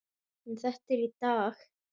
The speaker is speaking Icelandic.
En þetta er í dag.